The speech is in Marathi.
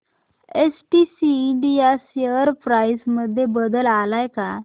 एसटीसी इंडिया शेअर प्राइस मध्ये बदल आलाय का